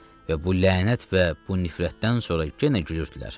Və bu lənət və bu nifrətdən sonra yenə gülürdülər.